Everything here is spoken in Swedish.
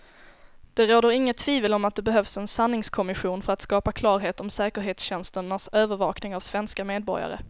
Det råder inget tvivel om att det behövs en sanningskommission för att skapa klarhet om säkerhetstjänsternas övervakning av svenska medborgare.